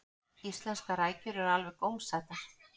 íslenskar rækjur eru alveg gómsætar